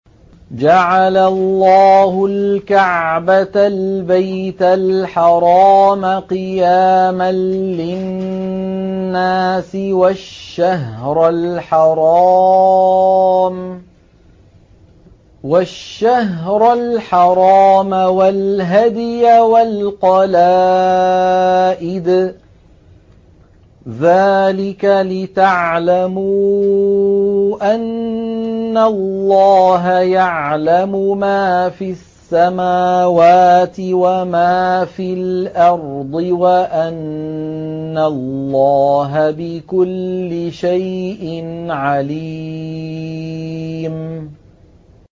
۞ جَعَلَ اللَّهُ الْكَعْبَةَ الْبَيْتَ الْحَرَامَ قِيَامًا لِّلنَّاسِ وَالشَّهْرَ الْحَرَامَ وَالْهَدْيَ وَالْقَلَائِدَ ۚ ذَٰلِكَ لِتَعْلَمُوا أَنَّ اللَّهَ يَعْلَمُ مَا فِي السَّمَاوَاتِ وَمَا فِي الْأَرْضِ وَأَنَّ اللَّهَ بِكُلِّ شَيْءٍ عَلِيمٌ